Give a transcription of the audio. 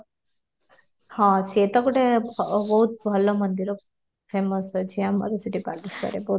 ହଁ ସିଏ ତ ଗୋଟେ ବହୁତ ଭଲ ମନ୍ଦିର famous ଅଛି ଆମର ସେଠି ବାଲେଶ୍ୱରରେ